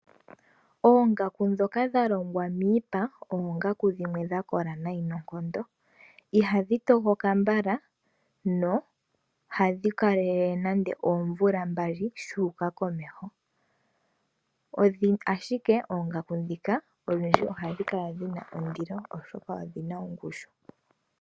Oongaku ndhika dha longwa miipa, oongaku dhimwe dha kola nayi noonkondo, iha dhi tokoka mbala, no ha dhi kalelele nando oomvula mbali shu uka komeho, ashike oongaku ndhika oha dhi kala dhina ondilo oshoka odhina ongushu.